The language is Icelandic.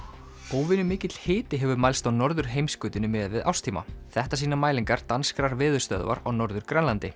óvenju mikill hiti hefur mælst á norðurheimskautinu miðað við árstíma þetta sýna mælingar danskrar veðurstöðvar á Norður Grænlandi